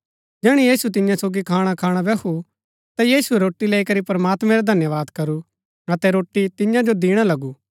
जैहणै यीशु तियां सोगी खाणखाणा बैहु ता यीशुऐ रोटी लैई करी प्रमात्मैं रा धन्यवाद करू अतै रोटी तियां जो दिणा लगू